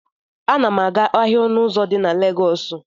M na-aga ahịa ọnụ ụzọ di na Legọọsụ.